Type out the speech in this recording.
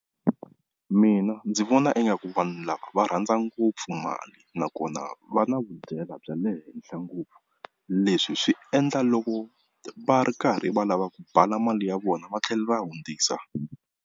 Mina ndzi vona ingaku vanhu lava va rhandza ngopfu mali nakona va na vudyela bya le henhla ngopfu, leswi swi endla loko va ri karhi va lava ku bala mali ya vona va tlhela va hundzisa.